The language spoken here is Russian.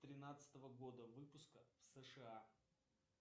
тринадцатого года выпуска в сша